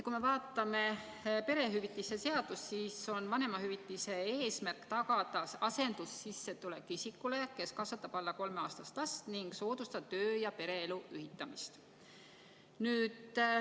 Kui me vaatame perehüvitiste seadust, siis on vanemahüvitise eesmärk tagada asendussissetulek isikule, kes kasvatab alla kolmeaastast last, ning soodustada töö ja pereelu ühitamist.